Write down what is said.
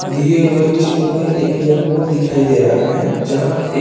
दिए हुए चित्र में एक एयर पोर्ट दिखाई दे रहा है।